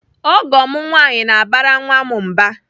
Ọgọ m nwaanyị na-abara nwa m mba.